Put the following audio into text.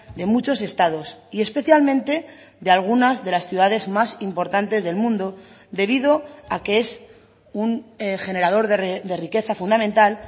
de muchos estados y especialmente de algunas de las ciudades más importantes del mundo debido a que es un generador de riqueza fundamental